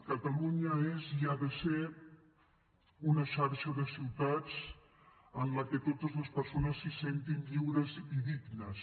catalunya és i ha de ser una xarxa de ciutats en la que totes les persones s’hi sentin lliures i dignes